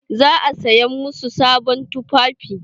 Za a saya masu sabon tufafi.